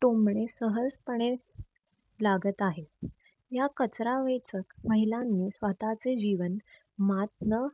टोमणे सहज पणे लागत आहे. या कचरा वेचक महिलांनी स्वतःचे जीवन मात्न